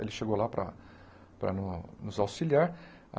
Ele chegou lá para para no nos auxiliar.